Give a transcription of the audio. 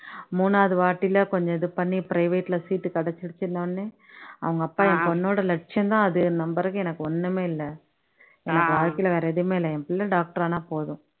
மூணாவது வாட்டியில கொஞ்சம் இது பண்ணி private ல seat கிடச்சுருச்சுன்ன உடனே அவங்க அப்பா என் பொண்ணோட லட்சியம் தான் அது நம்புறதுக்கு எனக்கு ஒண்ணுமே இல்ல, எனக்கு வாழ்க்கையில வேற எதுவுமே இல்ல, என் புள்ளை doctor ஆனா போதும்